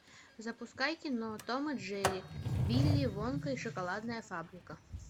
запускай кино том и джерри вилли вонка и шоколадная фабрика